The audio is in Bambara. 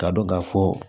K'a dɔn ka fɔ